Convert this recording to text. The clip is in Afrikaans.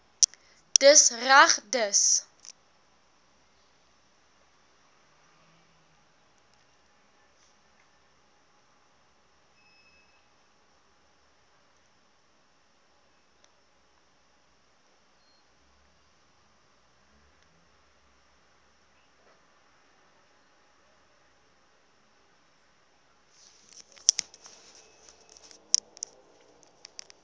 dis reg dis